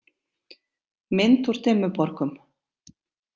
Mynd úr Dimmuborgum.